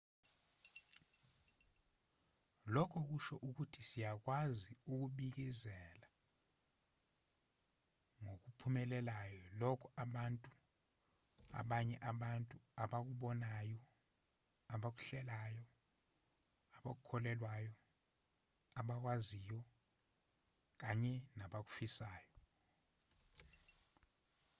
lokhu kusho ukuthi siyakwazi ukubikezela ngokuphumelelayo lokho abanye abantu abakubonayo abakuhlelayo abakukholelwayo abakwaziyo kanye nabakufisayo